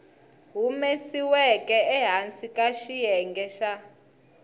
humesiweke ehansi ka xiyenge xa